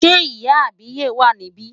Ṣé ìyá àbíyè wà níbí?